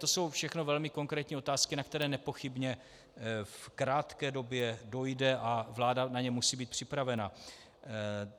To jsou všechno velmi konkrétní otázky, na které nepochybně v krátké době dojde a vláda na ně musí být připravena.